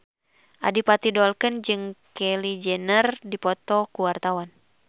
Adipati Dolken jeung Kylie Jenner keur dipoto ku wartawan